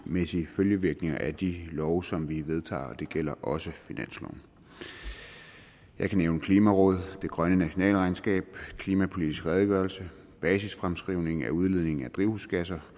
følgevirkninger af de love som vi vedtager og det gælder også finansloven jeg kan nævne klimarådet det grønne nationalregnskab klimapolitisk redegørelse basisfremskrivning af udledning af drivhusgasser